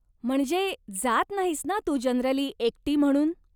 म्हणजे, जात नाहीस ना तू जनरली एकटी म्हणून.